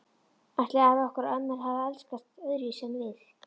Ætli afar okkar og ömmur hafi elskast öðruvísi en við?